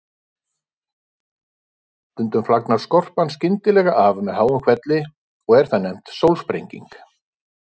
Stundum flagnar skorpan skyndilega af með háum hvelli og er það nefnt sólsprenging.